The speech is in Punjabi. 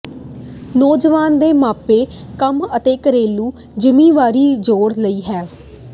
ਨੌਜਵਾਨ ਦੇ ਮਾਪੇ ਕੰਮ ਅਤੇ ਘਰੇਲੂ ਜ਼ਿੰਮੇਵਾਰੀ ਜੋੜ ਲਈ ਹੈ